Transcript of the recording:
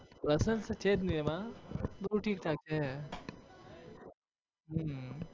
personal તો છે જ નહિ એમાં. બધું ઠીકઠાક છે હમ